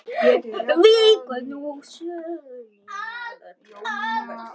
Víkur nú sögunni að Völlum.